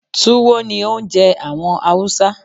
Túwó ni oúnje àwon Hausa